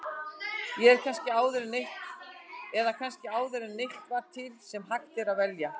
Eða kannski áður en neitt var til sem hægt var að telja?